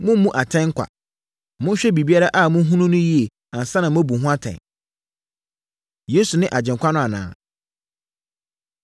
Mommmu atɛn kwa. Monhwɛ biribiara a mohunu no yie ansa na moabu ho atɛn.” Yesu Ne Agyenkwa No Anaa?